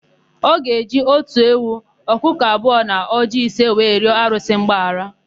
Ọ ga-eji otu ewu, ọkụkọ abụọ na ọjịị ise wee rịọ arụsị mgbaghara.